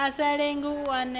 a sa lenge u neta